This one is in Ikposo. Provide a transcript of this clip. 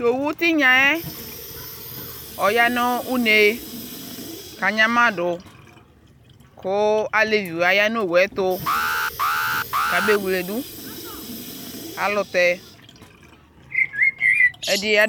Ta owu tinyaɛ ɔya no une ka nyama do koalebiwa ya no owu ɛto ka be wledu alutɛ ɛdiɛ